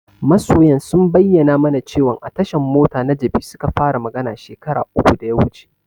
Masoyan sun bayyana mana cewan a tashan mota na Jabi suka fara magana shekara uku da ya wuce.